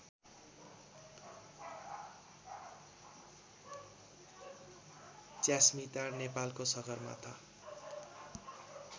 च्यास्मिटार नेपालको सगरमाथा